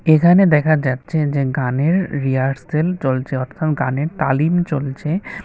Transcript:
এখানে দেখা যাচ্ছে যে গানের রিহার্সেল চলছে অর্থাৎ গানের তালিম চলছে।